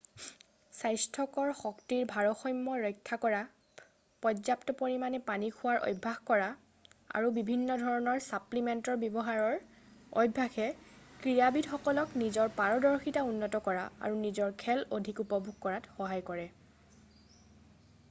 স্বাস্থ্যকৰ শক্তিৰ ভাৰসাম্য ৰক্ষা কৰা পৰ্যাপ্ত পৰিমাণে পানী খোৱাৰ অভ্যাস কৰা আৰু বিভিন্ন ধৰণৰ ছাপ্লিমেণ্টৰ ব্যৱহাৰৰ অভ্যাসে ক্ৰীড়াবিদসকলক নিজৰ পাৰদৰ্শিতা উন্নত কৰা আৰু নিজৰ খেল অধিক উপভোগ কৰাত সহায় কৰে